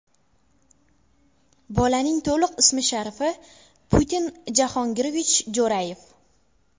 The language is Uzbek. Bolaning to‘liq ismi-sharifi – Putin Jahongirovich Jo‘rayev.